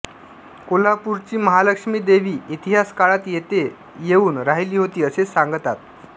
कोल्हापूरची महालक्ष्मी देवी इतिहास काळात येथे येऊन राहिली होती असे सागतात